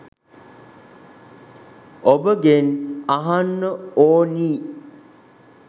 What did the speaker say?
ඔබගෙන් අහන්න ඕනි.